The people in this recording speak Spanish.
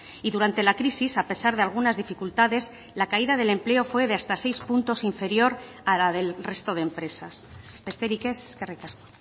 y durante la crisis a pesar de algunas dificultades la caída del empleo fue de hasta seis puntos inferior a la del resto de empresas besterik ez eskerrik asko